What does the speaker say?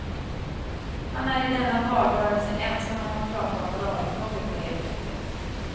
Han är i denna valrörelse ensam om att prata om moralfrågor på det sättet.